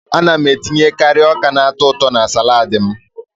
Ana m etinyekari ọka na-atọ ụtọ na salaadi m.